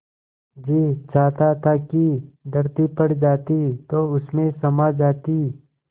जी चाहता था कि धरती फट जाती तो उसमें समा जाती